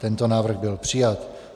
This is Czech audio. Tento návrh byl přijat.